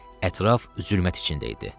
Ətraf zülmət içində idi.